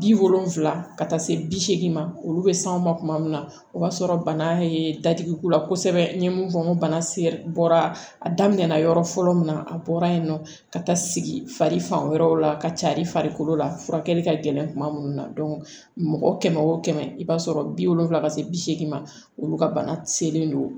Bi wolonfila ka taa se bi seegin ma olu be s'anw ma kuma min na o b'a sɔrɔ bana ye dadigi k'u la kosɛbɛ n ye mun fɔ n ko bana se bɔra a daminɛ na yɔrɔ fɔlɔ min na a bɔra yen nɔ ka taa sigi fari fan wɛrɛw la ka carin farikolo la furakɛli ka gɛlɛn kuma minnu na mɔgɔ kɛmɛ o kɛmɛ i b'a sɔrɔ bi wolonvila ka se bi seegin ma olu ka bana selen don